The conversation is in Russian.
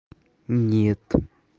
нет